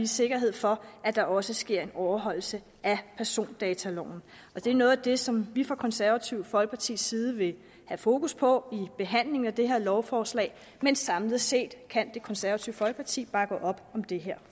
sikkerhed for at der også sker en overholdelse af persondataloven det er noget af det som vi fra det konservative folkepartis side vil have fokus på i behandlingen af det her lovforslag men samlet set kan det konservative folkeparti bakke op om det her